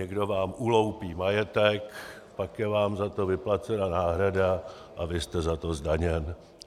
Někdo vám uloupí majetek, pak je vám za to vyplacena náhrada a vy jste za to zdaněn.